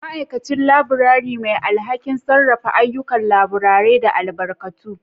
Ma'aikacin Laburare: Mai alhakin sarrafa ayyukan laburare da albarkatu.